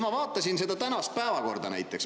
Ma vaatan näiteks tänast päevakorda.